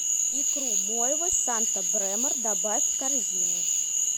икру мойвы санта бремор добавь в корзину